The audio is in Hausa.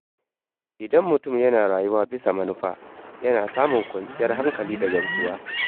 Idan mutum yana rayuwa bisa manufa, yana samun kwanciyar hankali da gamsuwa.